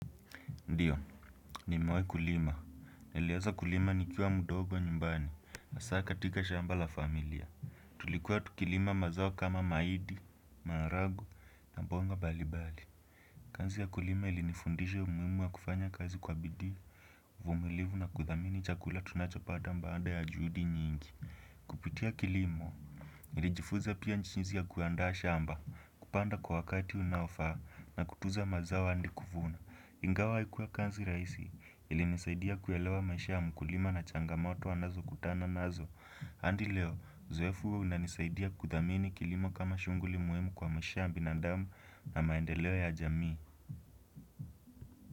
Ndiyo, nimewai kulima. Niliaza kulima nikiwa mdogo nyumbani hasaa katika shamba la familia. Tulikuwa tukilima mazao kama maidi, maharagu na bonga balibali. Kanzi ya kulima ilinifundisha umuimu wa kufanya kazi kwa bidii, uvumilivu na kuthamini chakula tunachopata mbaanda ya juudi nyingi. Kupitia kilimo nilijifuza pia nchizi ya kuandaa shamba kupanda kwa wakati unaofaa na kutuza mazao andi kuvuna Ingawa haikuwa kazi raisi ilinisaidia kuelewa maisha ya mkulima na changamoto anazokutana nazo Andi leo uzoefu huo unanisaidia kuthamini kilimo kama shunguli muimu kwa maisha ya binandamu na maendeleo ya jamii.